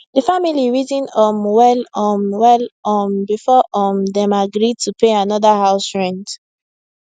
d family reason um well um well um before um dem agree to pay another house rent